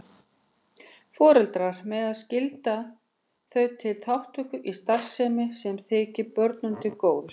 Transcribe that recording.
Foreldrar mega skylda þau til þátttöku í starfsemi sem þykir börnunum til góða.